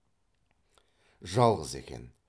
жалғыз екен